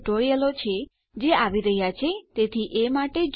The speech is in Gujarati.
મારી પાસે બીજાં કેટલાક સિક્યુંરીટી ટ્યુટોરીયલો છે જે આવી રહ્યાં છે તેથી એ માટે જુઓ